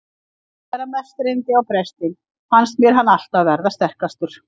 Og þegar mest reyndi á prestinn fannst mér hann alltaf verða sterkastur.